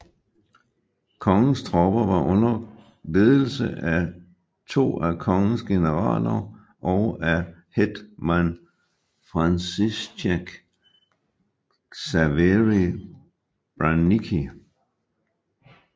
Kongens tropper var under ledelse af to af kongens generaler og af hétman Franciszek Ksawery Branicki